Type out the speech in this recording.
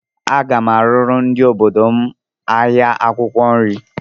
Aga m arụrụ ndị obodo m ahịa akwụkwọ nri